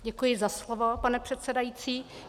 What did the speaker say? Děkuji za slovo, pane předsedající.